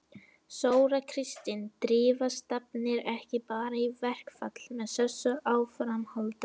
Þóra Kristín: Drífa stefnir ekki bara í verkfall með þessu áframhaldi?